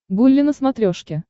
гулли на смотрешке